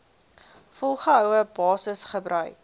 volgehoue basis gebruik